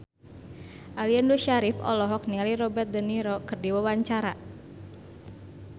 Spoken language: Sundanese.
Aliando Syarif olohok ningali Robert de Niro keur diwawancara